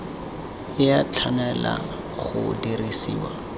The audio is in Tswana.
e a tshwanela go dirisiwa